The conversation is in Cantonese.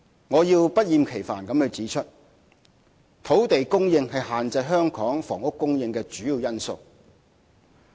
我要不厭其煩地指出，土地供應是限制香港房屋供應的主要因素。